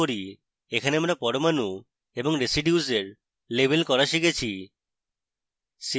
এখানে আমরা পরমাণু এবং residues in labels করা শিখেছি